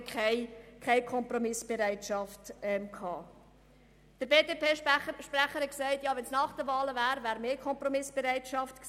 Der BDP-Sprecher hat gesagt, die Kompromissbereitschaft wäre höher gewesen, wenn das Ganze nach den Wahlen stattgefunden hätte.